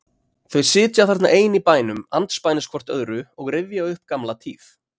Þau sitja þarna ein í bænum andspænis hvort öðru og rifja upp gamla tíð.